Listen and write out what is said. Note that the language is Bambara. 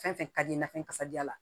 Fɛn fɛn ka di i n'a fɔ kasajalan